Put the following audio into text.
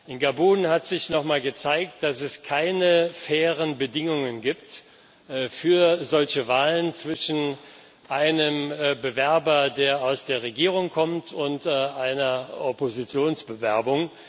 In Gabun hat sich nochmal gezeigt, dass es keine fairen Bedingungen gibt für solche Wahlen zwischen einem Bewerber, der aus der Regierung kommt, und einer Oppositionsbewerbung.